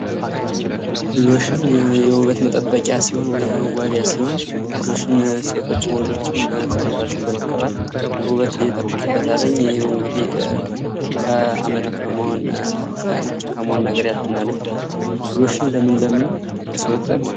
ሎሽን የውበት መጠበቂያ ሲሆን ወይም መዋቢያ ሲሆን ሎሽን ሴቶችም ወንዶችም በመቀባት ሰውነታቸውን በመቀባትውበት ይጠብቁበታል። እንግዲህ ከአመድ ከመሆን መሆን ነጭ ከመሆን ነገር ያድናል። ሎሽን ለምን ለምን ለሰውነት ይጠቅማል?